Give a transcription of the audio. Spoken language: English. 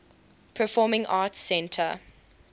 performing arts center